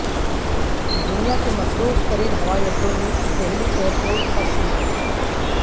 دنیا کے مصروف ترین ہوائی اڈوں میں دہلی ایئر پورٹ کا شمار